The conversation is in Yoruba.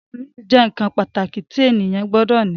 Sùúrù jẹ́ nǹkan pàtàkì tí ènìyàn gbọdọ̀ ní